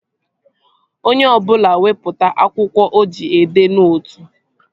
Onye ọbụla wepụta akwụkwọ o ji edee nootu!